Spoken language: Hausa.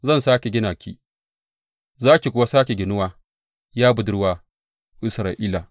Zan sāke gina ki za ki kuwa sāke ginuwa, ya Budurwar Isra’ila.